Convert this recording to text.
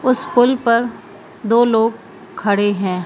उस पुल पर दो लोग खड़े हैं।